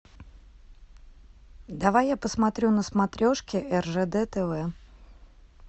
давай я посмотрю на смотрешке ржд тв